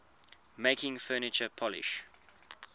making furniture polish